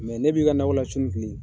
n'e b'i ka nakɔ la su ni tile